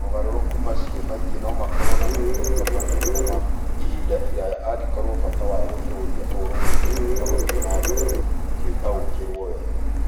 Mogarũrũku macio maingĩ no makorũo na moimĩrĩro manene na ma ihinda iraya angĩkorũo bata wa gũtũũria ũrũmwe na gũthiĩ na mbere tiũtaũkĩirũo wega.